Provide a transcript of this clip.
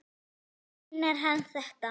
Meinar hann þetta?